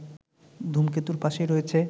ধূমকেতুর পাশেই রয়েছে